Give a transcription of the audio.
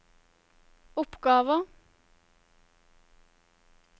oppgaver